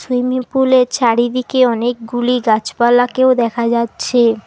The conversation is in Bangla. সুইমিং পুলের চারিদিকে অনেকগুলি গাছপালাকেও দেখা যাচ্ছে।